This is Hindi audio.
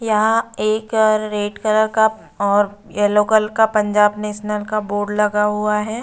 यहाँ एक अ-रेड कलर का और येलो कल का पंजाब नेशनल का बोर्ड लगा हुआ है।